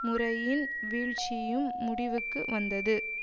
முறையின் வீழ்ச்சியும் முடிவுக்கு வந்தது